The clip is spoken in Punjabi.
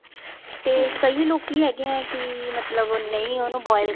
ਤੇ ਕਈ ਲੋਕੀ ਹੈਗੇ ਹੈ ਕੀ ਮਤਲਬ ਨਹੀਂ ਉਹਨੂੰ boil